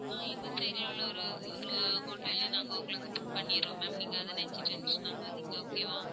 ஆஹ் எங்க side ல உள்ள ஒரு ஒரு hotel லயே நாங்க உங்களுக்கு book பண்ணிர்றோம் ma'am நீங்க அதை நினைச்சு tension ஆகாதீங்க okay வா?